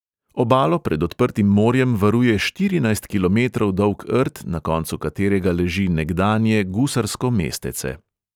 Obalo pred odprtim morjem varuje štirinajst kilometrov dolg rt, na koncu katerega leži nekdanje gusarsko mestece.